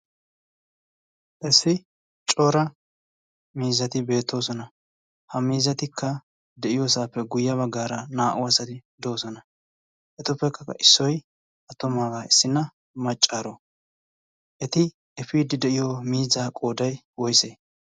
issi cora miizzati beettoosona ha miizatikka de'iyoosaappe guyye baggaara naa''u asati doosona etuppekkaka issoy attomaabaa issinna maccaaro eti efiidi de'iyo miiza qooday woise